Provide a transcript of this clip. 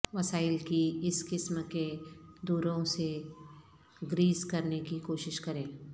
وسائل کی اس قسم کے دوروں سے گریز کرنے کی کوشش کریں